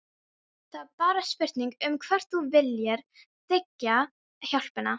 Það er bara spurning um hvort þú viljir þiggja hjálpina.